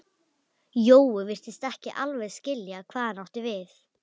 Hún hugsar um daginn sem hún flytur að heiman.